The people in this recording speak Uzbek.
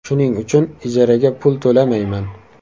Shuning uchun ijaraga pul to‘lamayman.